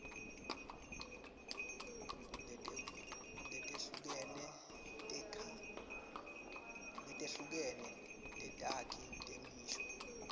letehlukene tetakhi temisho